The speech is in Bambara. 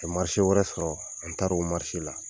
Ka wɛrɛ sɔrɔ an taara u la.